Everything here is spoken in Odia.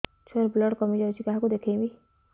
ଛୁଆ ର ବ୍ଲଡ଼ କମି ଯାଉଛି କାହାକୁ ଦେଖେଇବି